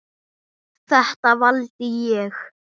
Þetta valdi ég.